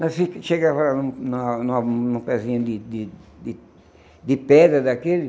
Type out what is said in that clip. Nós chegava na numa pezinha de de de de pedra daquele.